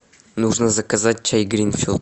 нужно заказать чай гринфилд